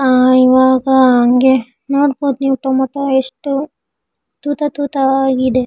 ಆಹ್ಹ್ ಇವಾಗ ಹಂಗೆ ನೋಡಬಹುದು ನೀವ್ ಟೊಮೇಟೊ ಎಸ್ಟ್ ತೂತ ತೂತ ಆಗಿದೆ.